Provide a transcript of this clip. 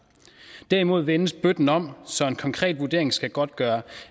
derimod vendes bøtten om så en konkret vurdering skal godtgøre